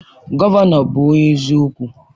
Gọvanọ bụ onye eziokwu.